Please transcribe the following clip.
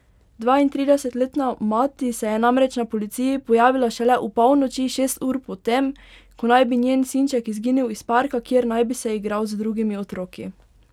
Dvaintridesetletna mati se je namreč na policiji pojavila šele opolnoči, šest ur potem, ko naj bi njen sinček izginil iz parka, kjer naj bi se igral z drugimi otroki.